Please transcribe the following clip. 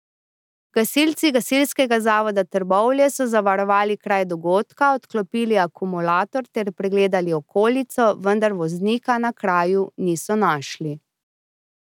Gasilci Gasilskega zavoda Trbovlje so zavarovali kraj dogodka, odklopili akumulator ter pregledali okolico, vendar voznika na kraju niso našli.